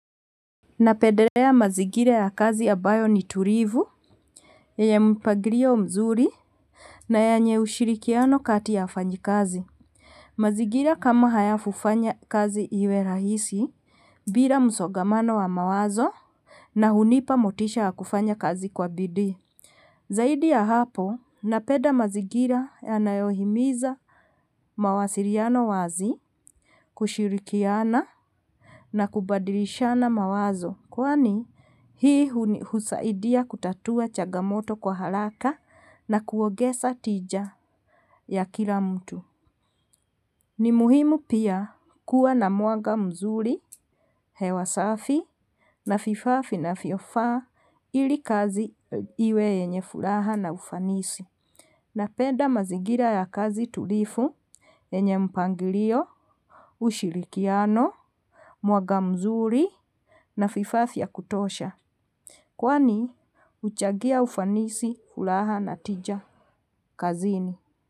Napendelea mazigira ya kazi ambayo ni tulivu. Yenye mpagilio mzuri, na yenye ushirikiano kati ya wafanyikazi. Mazigira kama haya hufanya kazi iwe rahisi, bila msogamano wa mawazo na hunipa motisha ya kufanya kazi kwa bidii. Zaidi ya hapo napeda mazigira yanayohimiza mawasiliano wazi, kushirikiana, na kubadilishana mawazo. Kwani hii husaidia kutatua chagamoto kwa haraka na kuogeza tija ya kila mtu. Ni muhimu pia kuwa na mwanga mzuri, hewa safi, na vifaa vinavyofaa, ili kazi iwe yenye furaha na ufanisi. Napenda mazigira ya kazi tulifu, yenye mpangilio, ushirikiano, mwanga mzuri na vifaa vya kutosha. Kwani huchagia ufanisi, furaha na tija kazini.